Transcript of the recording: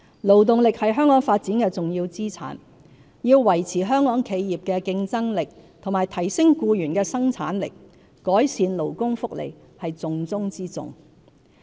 勞動力是香港發展的重要資產，要維持香港企業的競爭力及提升僱員的生產力，改善勞工福利是重中之重。